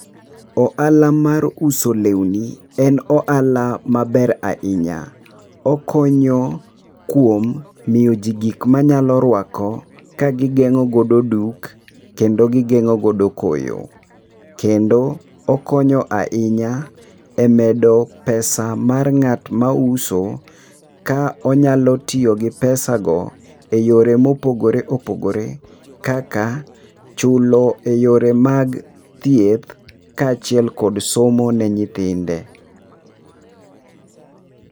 Oala mar uso lewni en oala maber ahinya, okonyo kuom miyo ji gik manyalo ruako ka gigeng'o godo duk, kendo gigeng'o godo koyo. Kendo okonyo ahinya e medo pesa mar ng'at mauso ka onyalo tiyo gi pesago e yore mopogore opogore. Kaka chulo eyore mag thieth kaachiel kod somo ne nyithinde.